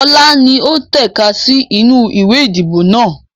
Ọlá ni ó tẹ̀ka sì inú ìwé ìdìbò náà